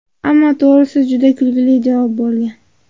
Ammo to‘g‘risi, juda kulgili javob bo‘lgan.